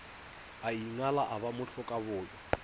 a ingala a ba mohlokaboyo